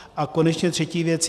A konečně třetí věc.